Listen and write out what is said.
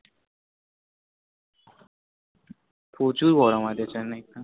প্রচুর গরম আছে Chennai তে